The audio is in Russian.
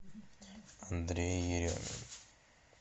андрей еремин